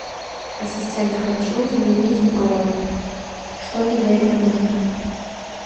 ассистент хочу изменить бронь что мне для этого нужно